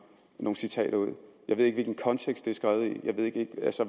nogle citater ud jeg ved ikke hvilken kontekst det er skrevet i jeg ved ikke